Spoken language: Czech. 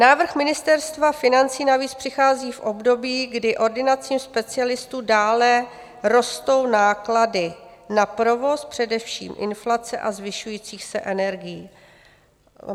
Návrh Ministerstva financí navíc přichází v období, kdy ordinacím specialistů dále rostou náklady na provoz, především inflace, a zvyšujících se energií.